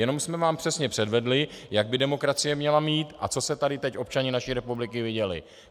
Jenom jsme vám přesně předvedli, jak by demokracie měla mít a co se tady teď občané naší republiky viděli?